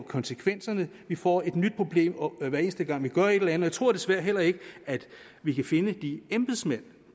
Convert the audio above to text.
konsekvenserne vi får et nyt problem hver eneste gang vi gør et eller andet og jeg tror desværre heller ikke at vi kan finde de embedsmænd